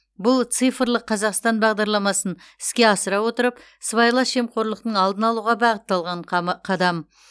бұл цифрлық қазақстан бағдарламасын іске асыра отырып сыбайлас жемқорлықтың алдын алуға бағытталған қама қадам